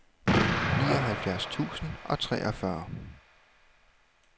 nioghalvfjerds tusind og treogfyrre